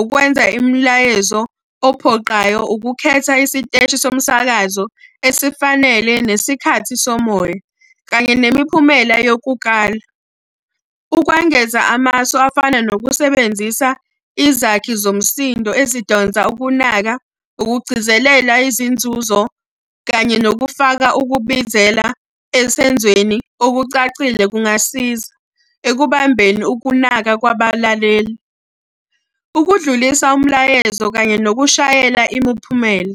ukwenza imilayezo ophoqayo, ukukhetha isiteshi somsakazo esifanele nesikhathi somoya, kanye nemiphumela yokukala. Ukwengeza amasu afana nokusebenzisa izakhi zomsindo ezidonsa ukunaka, ukugcizelela izinzuzo, kanye nokufaka ukubizela esenzweni okucacile kungasiza ekubambeni ukunaka kwabalaleli. Ukudlulisa umlayezo kanye nokushayela imiphumela.